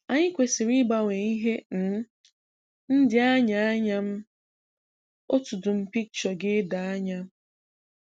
Anyị kwesì̀rị̀ ịgbanwe ihe um ndị anyị ànyà m otú dum picture ga-èdò ànyà.